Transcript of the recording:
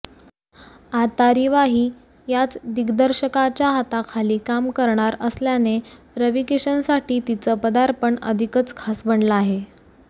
आता रिवाही याच दिग्दर्शकाच्या हाताखाली काम करणार असल्याने रवीकिशनसाठी तिचं पदार्पण अधिकच खास बनलं आहे